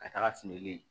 Ka taga feere